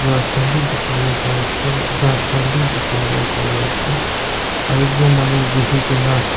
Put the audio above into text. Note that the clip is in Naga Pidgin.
grass khan bi dikhiwolae parease ghas khan bi dikhiwolae parease aro ekjon manu buhikaena--